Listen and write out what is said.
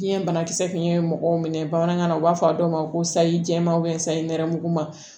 Biyɛn banakisɛ tun ye mɔgɔw minɛ bamanankan na u b'a fɔ a dɔw ma ko sayi jɛman sayi nɛrɛmuguma